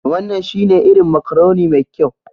Wannan shine irin macaroni mai kyau